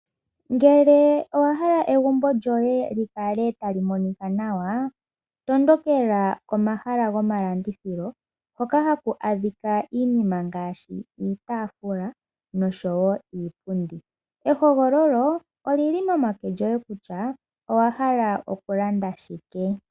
Ngele owa hala egumbolyoye likale tali monika nawa, tondokela komahala gomalandithilo hoka haku adhika iinima ngashi iitafula nosho wo iipundi, ehogololo olili momake goye kutya owahala oku landa shike.